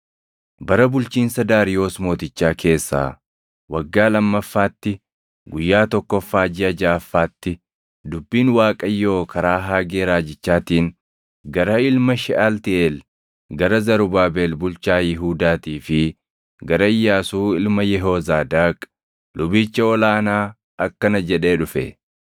Bara bulchiinsa Daariyoos Mootichaa keessaa waggaa lammaffaatti, guyyaa tokkoffaa jiʼa jaʼaffaatti, dubbiin Waaqayyoo karaa Haagee Raajichaatiin gara ilma Sheʼaltiiʼeel gara Zarubaabel bulchaa Yihuudaatii fi gara Iyyaasuu ilma Yehoozaadaaq lubicha ol aanaa akkana jedhee dhufe: